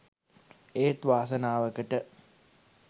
ඒත් වාසනාවකට